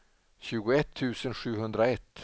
tjugoett tusen sjuhundraett